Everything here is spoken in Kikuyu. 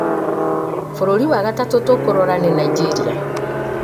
bũrũri wa gatatũ tũkũrora nĩ Nainjĩria